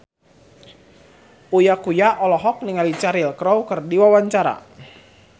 Uya Kuya olohok ningali Cheryl Crow keur diwawancara